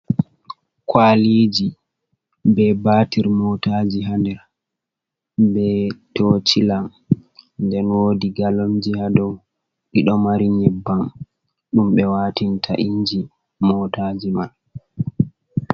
Kwaaliiji bee baatir mootaaji haa nder, bee tochila, nden woodi Galonji haa dow, ɗiɗo mari nyebbam ɗum ɓe watinta inji motaji man.